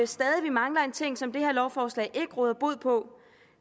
stadig mangler en ting som det her lovforslag ikke råder bod på